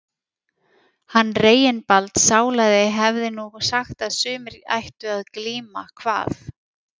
Hann Reginbald sálaði hefði nú sagt að sumir ættu að glíma, kvað